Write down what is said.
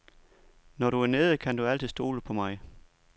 Når du er nede, kan du altid stole på mig.